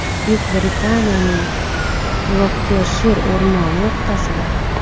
Buyuk Britaniyaning Gloctershir o‘rmoni o‘rtasida.